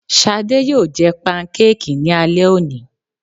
Shadé yóò jẹ pankéèkì ní alẹ́ òní